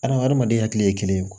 Adamaden hakili ye kelen ye